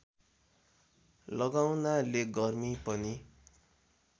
लगाउनाले गर्मी पनि